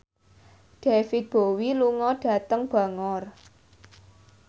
David Bowie lunga dhateng Bangor